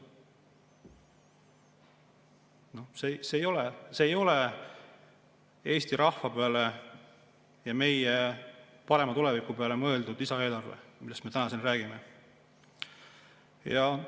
See lisaeelarve ei ole tehtud, mõeldes Eesti rahva peale ja meie parema tuleviku peale, see eelarve, millest me täna siin räägime.